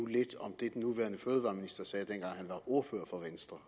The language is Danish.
lidt om det den nuværende fødevareminister sagde dengang han var ordfører for venstre